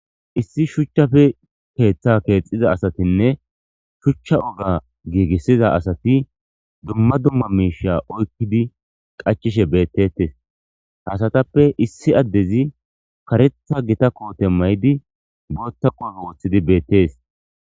Issi shuchchafe keeththa keexiza asatinne shuchcha oga giigissiza asati dumma dumma miisha oykkidi qachishe beettettes hasatappe issi addezi karetha gita koote may7di bootta qoofo woththidi beettees